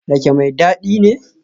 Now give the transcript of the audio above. Rake mai dadi ne?